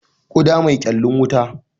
Kuda mai kyallin wuta.